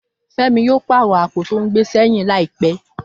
Fẹ́mi yóò pàrọ̀ àpò tó ń gbé sẹ́yìn láìpẹ́